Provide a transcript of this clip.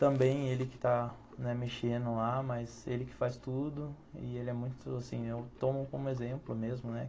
Também ele que está mexendo lá, mas ele que faz tudo e ele é muito, assim, eu tomo como exemplo mesmo, né?